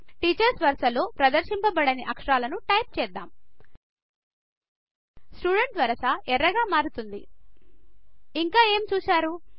teachers వరస లో ప్రదర్శింపబడని అక్షరాలను టైప్ చేద్దాం స్టూడెంట్ వరస ఎర్రగా మారుతుంది ఇంక ఏమి చూశారు160